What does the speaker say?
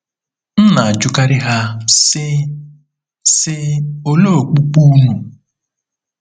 M na-ajụkarị ha, sị, sị, “Olee okpukpe unu ?”